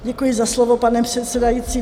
Děkuji za slovo, pane předsedající.